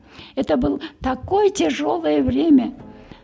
это был такое тяжелое время